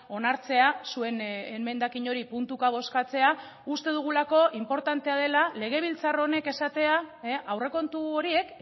onartzea zuen emendakin hori puntuka bozkatzea uste dugulako inportantea dela legebiltzar honek esatea aurrekontu horiek